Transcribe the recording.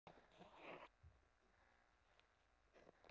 Það verður að segjast að hún er drengilegri íþrótt.